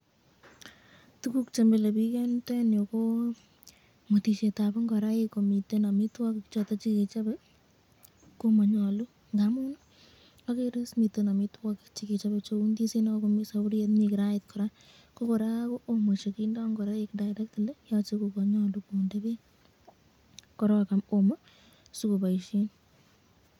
Kit neagere nemile bik eng yu, ko mwetisyetab ingoraik komiten amitwokik, agere saburit, ndizinik, ak teronik ,komiten olda agenge chemanyalu kounon.